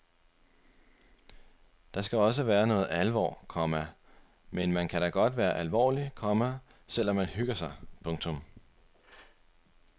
Der skal også været noget alvor, komma men man kan da godt være alvorlig, komma selv om man hygger sig. punktum